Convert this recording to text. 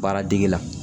Baaradege la